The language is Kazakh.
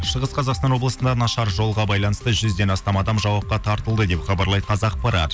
шығыс қазақстан облысында нашар жолға байланысты жүзден астам адам жауапқа тартылды деп хабарлайды қазақпарат